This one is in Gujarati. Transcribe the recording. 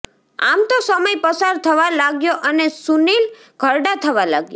આમ તો સમય પસાર થવા લાગ્યો અને સુનીલ ઘરડા થવા લાગ્યા